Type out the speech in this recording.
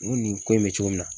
N ko nin ko in be cogo min na